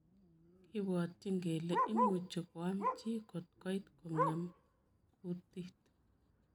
Kibwatchin kelee imuchii koam chii kotkoit kongeem kundiit.